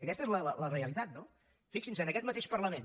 aquesta és la realitat no fixinse en aquest mateix parlament